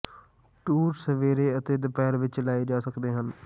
tour ਸਵੇਰੇ ਅਤੇ ਦੁਪਹਿਰ ਵਿੱਚ ਲਏ ਜਾ ਸਕਦੇ ਹਨ